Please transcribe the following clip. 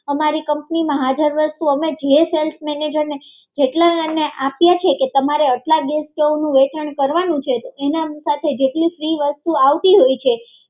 અમારી કંપની માં હાજર વસ્તુ અમે જે સેલ્સમેન ને આપીએ છીએ કે તમારે આટલા ગેસ સ્ટવનું વેચાણ કરવાનું છે તો એની સાથે જેટલી ફ્રી વસ્તુ આવતી હોય છે